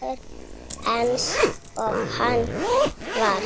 Eins og hann var.